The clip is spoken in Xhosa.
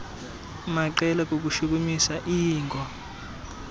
maqela kukushukumisa iingo